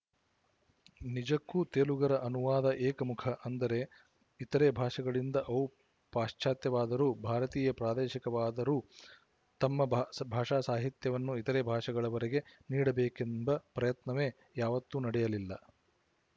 ನಿಜಕ್ಕೂ ತೆಲುಗರ ಅನುವಾದ ಏಕಮುಖ ಅಂದರೆ ಇತರೆ ಭಾಷೆಗಳಿಂದ ಅವು ಪಾಶ್ಚಾತ್ಯವಾದರೂ ಭಾರತೀಯ ಪ್ರಾದೇಶಿಕವಾದರೂತಮ್ಮ ಭಾಷಾಸಾಹಿತ್ಯವನ್ನು ಇತರೆ ಭಾಷೆಗಳವರಿಗೆ ನೀಡಬೇಕೆಂಬ ಪ್ರಯತ್ನವೇ ಯಾವತ್ತೂ ನಡೆಯಲಿಲ್ಲ